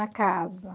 A casa.